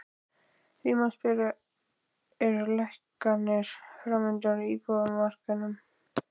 Því má spyrja, eru lækkanir framundan á íbúðamarkaði?